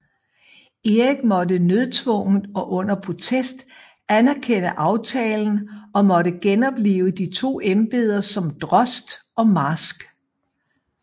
Erik måtte nødtvunget og under protest anerkende aftalen og måtte genoplive de to embeder som drost og marsk